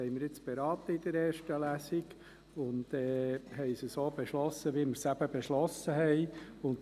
Das StG haben wir jetzt in erster Lesung beraten und haben es so beschlossen, wie wir es eben beschlossen haben.